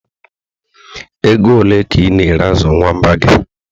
Ego ole ka ị na-ere azụ nwamba gị?